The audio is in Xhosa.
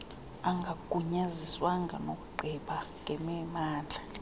angagunyaziswanga nokugqiba ngemimandla